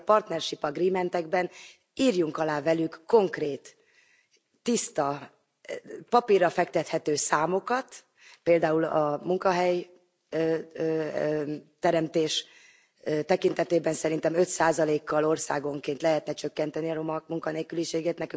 Ezért a partnership agreementekben írjunk alá velük konkrét, tiszta, papírra fektethető számokat, például a munkahelyteremtés tekintetében szerintem 5 százalékkal országonként lehetne csökkenteni a roma munkanélküliséget.